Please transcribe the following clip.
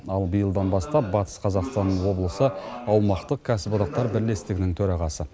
ал биылдан бастап батыс қазақстан облысы аумақтық кәсіподақтар бірлестігінің төрағасы